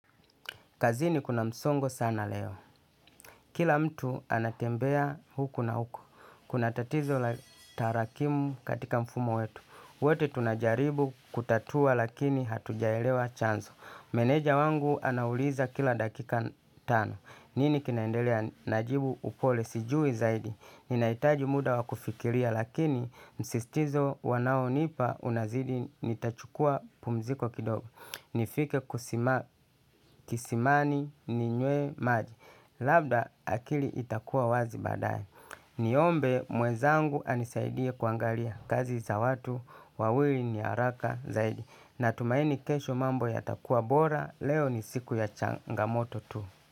Kazini kuna msongo sana leo. Kila mtu anatembea huku na huku. Kuna tatizo la tarakimu katika mfumo wetu. Wote tunajaribu kutatua lakini hatujaelewa chanzo. Meneja wangu anauliza kila dakika tano. Nini kinaendelea najibu upole sijui zaidi. Ninahitaji muda wa kufikiria lakini msisitizo wanaonipa unazidi nitachukua pumziko kidogo. Nifike kisimani ninywe maji. Labda akili itakuwa wazi baadae niombe mwenzangu anisaidie kuangalia kazi za watu wawili ni haraka zaidi natumaini kesho mambo yatakuwa bora, leo ni siku ya changamoto.